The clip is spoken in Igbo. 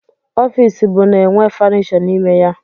Ọfịs bụ na-enwe fọnishọ n'ime ya.